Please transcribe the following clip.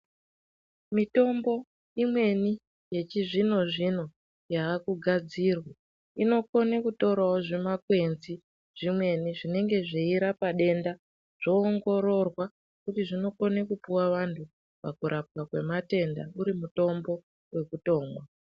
Mitombo imweni yechizvino zvino yaakugadzirwa inokona kutorewo zvimakwenzi zvimweni zvinenge zveirape denda zvoongororwa kuti zvinokone kupuwe vanthu pakurapwa kwematenda.